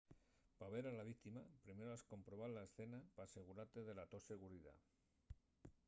pa ver a la víctima primero has comprobar la escena p’asegurate de la to seguridá